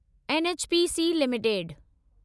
NHPC limited